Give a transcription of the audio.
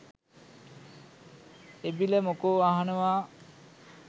එබිල මොකෝ අහනවා